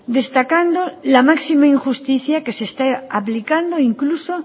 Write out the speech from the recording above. destacando la máxima injusticia que se está aplicando incluso